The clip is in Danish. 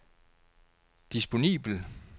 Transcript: disponibel